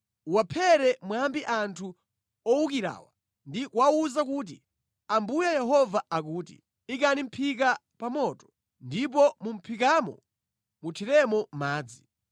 Uwaphere mwambi anthu owukirawa ndi kuwawuza kuti: ‘Ambuye Yehova akuti, “ ‘Ikani mʼphika pa moto, ndipo mu mʼphikamo muthiremo madzi.